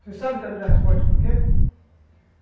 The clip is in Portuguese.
Você sabe me dar a resposta do porquê?